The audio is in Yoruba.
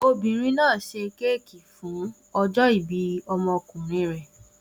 Obìnrin náà ṣe kéékì fún ọjọ́-ìbí ọmọkùnrin rẹ̀.